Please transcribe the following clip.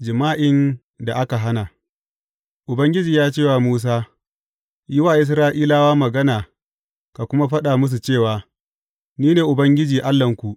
Jima’in da aka hana Ubangiji ya ce wa Musa, Yi wa Isra’ilawa magana ka kuma faɗa musu cewa, Ni ne Ubangiji Allahnku.